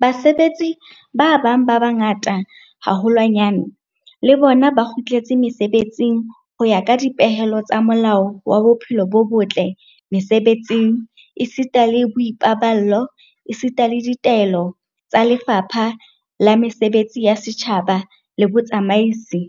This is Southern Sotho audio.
Basebetsi ba bang ba bangata haholwanyane le bona ba kgutletse mesebetsing ho ya ka dipehelo tsa Molao wa Bophelo bo botle Mese-betsing esita le Boipaballo esita le ditaelo tsa Lefapha la Mesebetsi ya Setjhaba le Botsamaisi,